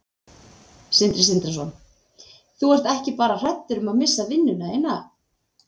Sindri Sindrason: Þú ert ekki bara hræddur um að missa vinnuna þína?